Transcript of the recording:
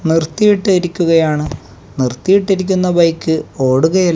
നിർത്തിയിട്ടിരിക്കുകയാണ് നിർത്തിയിട്ടിരിക്കുന്ന ബൈക്ക് ഓടുകയ--